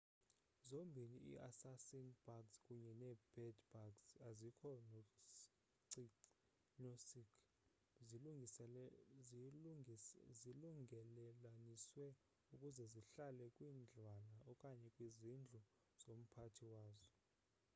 zombini i-assassin-bugs kunye nee-bed-bugs azikho nocic zilungelelaniswe ukuze zihlale kwindlwana okanye kwizindlu zomphathi wazo